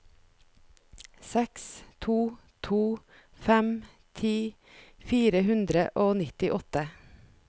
seks to to fem ti fire hundre og nittiåtte